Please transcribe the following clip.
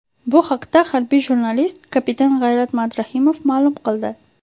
Bu haqda harbiy jurnalist, kapitan G‘ayrat Madrahimov ma’lum qildi.